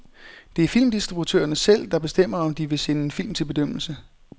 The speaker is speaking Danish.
Det er filmdistributørerne selv, der bestemmer, om de vil sende en film til bedømmelse.